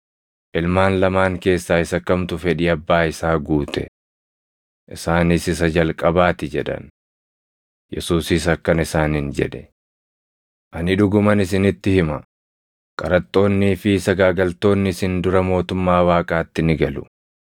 “Ilmaan lamaan keessaa isa kamtu fedhii abbaa isaa guute?” Isaanis, “Isa jalqabaa ti” jedhan. Yesuusis akkana isaaniin jedhe; “Ani dhuguman isinitti hima; qaraxxoonnii fi sagaagaltoonni isin dura mootummaa Waaqaatti ni galu.